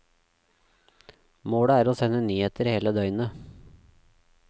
Målet er å sende nyheter hele døgnet.